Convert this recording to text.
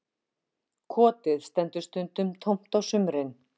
Kotið stendur stundum tómt á sumrin